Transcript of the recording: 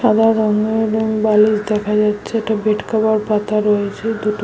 সাদা রঙের রং বালিশ দেখা যাচ্ছে। একটা বেডকভার পাতা রয়েছে দুটো--